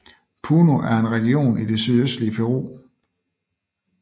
Puno er en region i det sydøstlige Peru